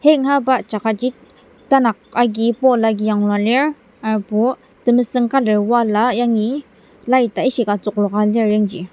hang ahaba jaka tanak agi pole agi yanglua lir hurbo temesüng colour wall yangi light a ishika tsükloka lir yangji.